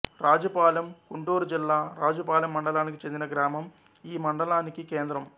రాజుపాలెం గుంటూరు జిల్లా రాజుపాలెం మండలానికి చెందిన గ్రామం ఈ మడలానికి కేంద్రం